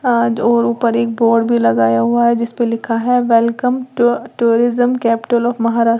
आज और ऊपर एक बोर्ड भी लगाया हुआ है जिस पे लिखा है welcome to tourism capital of Maharashtra--